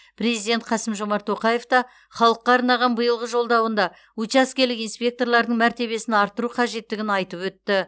президент қасым жомарт тоқаев та халыққа арнаған биылғы жолдауында учаскелік инспекторлардың мәртебесін арттыру қажеттігін айтып өтті